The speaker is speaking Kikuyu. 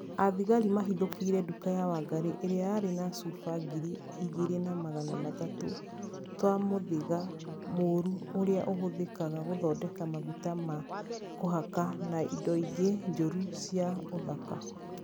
Athigari mahithũkĩire nduka ya wangarĩ, ĩrĩa yarĩ na cuba ngiri igĩrĩ na magana matatũ twa mũthĩga mũrũ ũrĩa ũhũthĩkaga gũthondeka maguta ma kũhaka na indo ingĩ njũru cia ũthaka